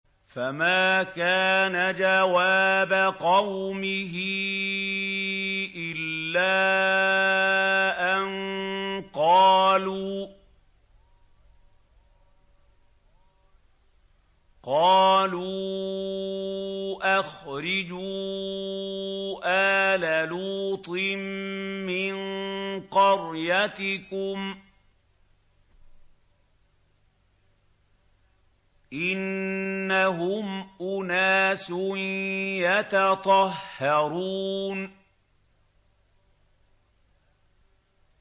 ۞ فَمَا كَانَ جَوَابَ قَوْمِهِ إِلَّا أَن قَالُوا أَخْرِجُوا آلَ لُوطٍ مِّن قَرْيَتِكُمْ ۖ إِنَّهُمْ أُنَاسٌ يَتَطَهَّرُونَ